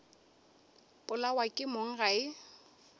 polawa ke mong ga e